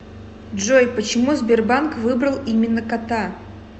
джой почему сбербанк выбрал именно кота